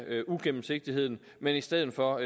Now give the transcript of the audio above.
uigennemsigtigheden men i stedet for